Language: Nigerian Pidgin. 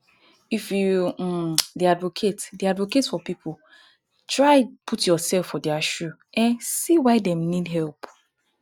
if you um dey advocate dey advocate for pipo try put youself for their shoe to um see why dem need help